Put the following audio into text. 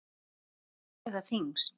Hvað mun vega þyngst?